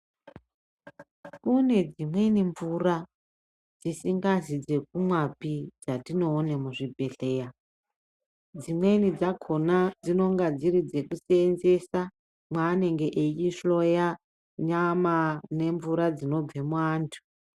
Kune dzimweni mvura dzisingazi dzekumwapi dzatinoone muzvibhedhlera, dzimweni dzakona dzinonga dziri dzekuseenzesa mwaanenge eihloya nyama nemvura dzinobve muantu.